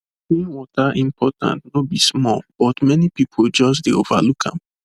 clean water important no be small but many people just de overlook am